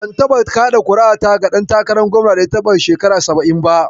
Ban taɓa kaɗa ƙuri'ata ba ga ɗan takarar gwamnan da ya shekara saba'in ba.